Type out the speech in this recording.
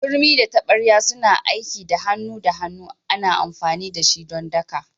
Turmi da tabarya suna aiki da hannu da hannu ana amfani da shi don daka.